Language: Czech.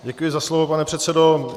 Děkuji za slovo, pane předsedo.